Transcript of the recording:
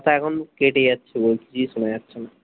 তোর কথা এখন কেটে যাচ্ছে বহুত কিছু সোনা যাচ্ছে না